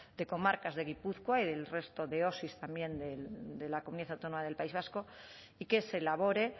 de comarcas de gipuzkoa y del resto de osi también de la comunidad autónoma del país vasco y que se elabore